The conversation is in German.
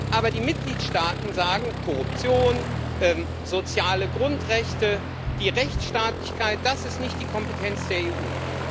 Aber die Mitgliedstaaten sagen Korruption, soziale Grundrechte, die Rechtsstaatlichkeit das ist nicht die Kompetenz der EU.